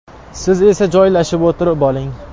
Siz esa joylashib o‘tirib oling.